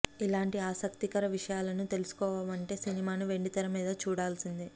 ఇలాంటి ఆసక్తికర విషయాలను తెలుసుకోవాలనుంటే సినిమాను వెండితెరమీద చూడాల్సిందే